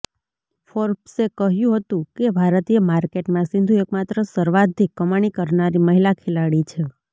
ફોર્બ્સે કહ્યું હતું કે ભારતીય માર્કેટમાં સિંધુ એકમાત્ર સર્વાધિક કમાણી કરનારી મહિલા ખેલાડી છે